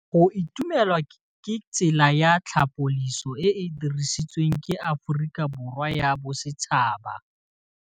Go itumela ke tsela ya tlhapolisô e e dirisitsweng ke Aforika Borwa ya Bosetšhaba.